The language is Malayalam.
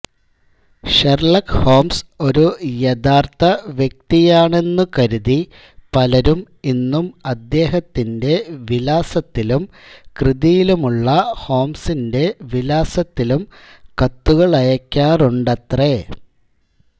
ഷെർലക് ഹോംസ് ഒരു യഥാർത്ഥ വ്യക്തിയാണെന്നു കരുതി പലരും ഇന്നും അദ്ദേഹത്തിന്റെ വിലാസത്തിലും കൃതിയിലുള്ള ഹോംസിന്റെ വിലാസത്തിലും കത്തുകളയക്കാറുണ്ടത്രേ